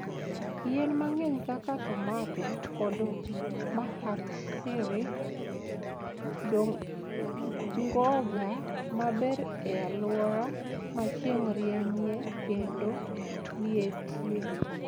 Yien mang'eny kaka tomato kod mahatsiri dongoga maber e alwora ma chieng' rienyie kendo lietie.